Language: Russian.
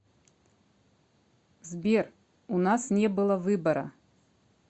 сбер у нас не было выбора